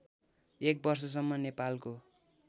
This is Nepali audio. १ वर्षसम्म नेपालको